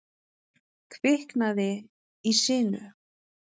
Kviknaði í sinu